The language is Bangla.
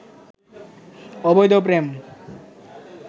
অবৈধ প্রেম